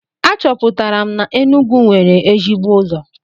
Achọpụtara m na Enugwu nwere ezigbo ụzọ.